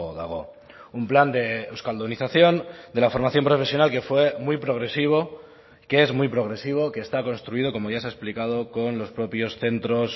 dago un plan de euskaldunización de la formación profesional que fue muy progresivo que es muy progresivo que está construido como ya se ha explicado con los propios centros